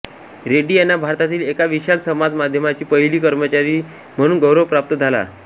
रेड्डी यांना भारतातील एका विशाल समाज मध्यमाची पहिली कर्मचारी म्हणून गौरव प्राप्त झाला आहे